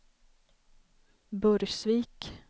Burgsvik